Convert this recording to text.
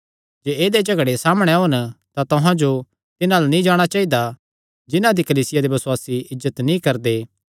जे ऐदेय झगड़े सामणै ओन तां तुहां जो तिन्हां अल्ल नीं जाणा चाइदा जिन्हां दी कलीसिया दे बसुआसी इज्जत नीं करदे